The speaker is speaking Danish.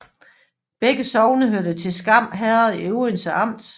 Begge sogne hørte til Skam Herred i Odense Amt